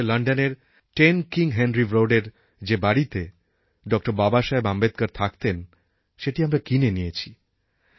এই সঙ্গে লণ্ডনের 10 কিং হেনরি Roadএর যে বাড়িতে ড বাবাসাহেব আম্বেদকর থাকতেন সেটি আমরা কিনে নিয়েছি